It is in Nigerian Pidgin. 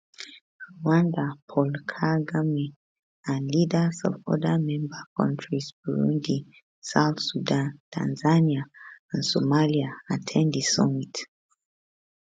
rwanda paul kagame and leaders of oda member kontris burundi south sudan tanzania and somalia at ten d di summit